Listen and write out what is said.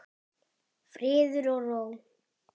Friður og ró.